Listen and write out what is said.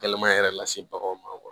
Gɛlɛman yɛrɛ lase baganw ma